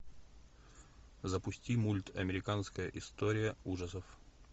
запусти мульт американская история ужасов